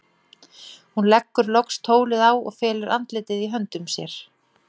Hún leggur loks tólið á og felur andlitið í höndum sér.